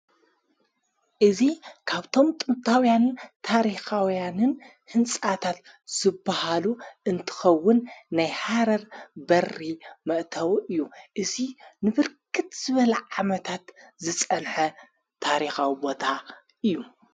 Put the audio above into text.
እዙ ካብቶም ጥንታውያንን ታሪኻውያንን ሕንጻታት ዘብሃሉ እንትኸውን ናይ ሓረር በሪ መእተው እዩ እዙይ ንብርክት ዘበለ ዓመታት ዝጸንሐ ታሪኻዊቦታ እዩ::